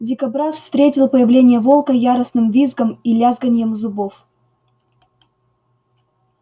дикобраз встретил появление волка яростным визгом и лязганьем зубов